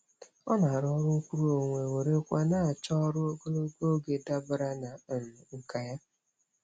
Ọ na-arụ ọrụ nkwuruonwe were kwa na-achọ ọrụ ogologo oge dabara na um nkà ya.